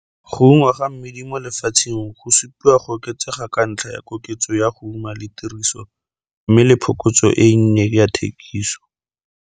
Go ungwa ga mmidi lefatsheng go supiwa go oketsega ka ntlha ya koketso ya go uma le tiriso mme le phokotso e nnye ya thekiso.